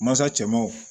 Masa cɛ ma wo